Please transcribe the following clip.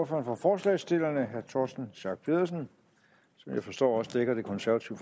for forslagsstillerne herre torsten schack pedersen som jeg forstår også dækker det konservative